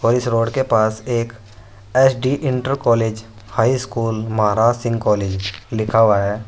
और इस रोड के पास एक S D inter college high school Maharaj Singh college लिखा हुआ है।